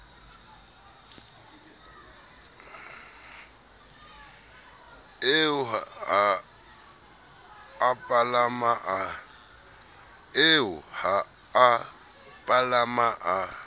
eo ha a palama a